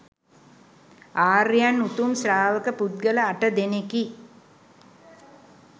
ආර්යයන් උතුම් ශ්‍රාවක පුද්ගල අට දෙනෙකි.